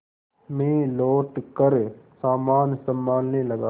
मैं लौटकर सामान सँभालने लगा